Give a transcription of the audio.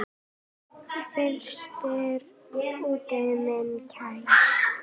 Frystir úti minn kæri.